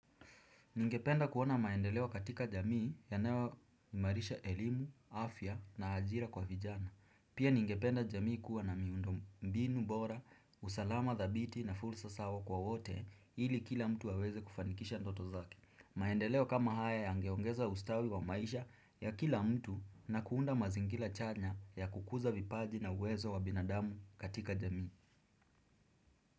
Ningependa kuona maendeleo katika jamii yanayoimarisha elimu, afya na ajira kwa vijana. Pia ningependa jamii kuwa na miundombinu bora, usalama dhabiti na fulsa sawa kwa wote ili kila mtu aweze kufanikisha ndoto zake. Maendeleo kama haya yangeongeza ustawi wa maisha ya kila mtu na kuunda mazingira chanya ya kukuza vipaji na uwezo wa binadamu katika jamii.